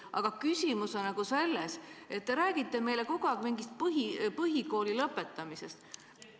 Aga küsimus on selles, et te räägite meile kogu aeg mingist põhikooli lõpetamisest.